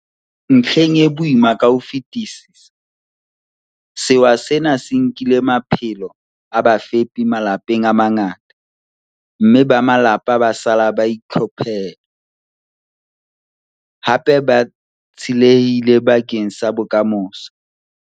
Ntlheng e boima ka ho fetisisa, sewa sena se nkile maphelo a bafepi malapeng a mangata, mme ba malapa ba sala ba itlhophere, hape ba tsielehille bakeng sa bokamoso.